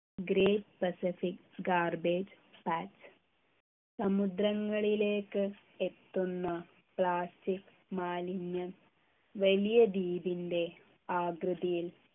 Great Pacific Garbage Patch സമുദ്രങ്ങളിലേക്ക് എത്തുന്ന plastic മാലിന്യം വലിയ ദ്വീപിൻ്റെ ആകൃതിയിൽ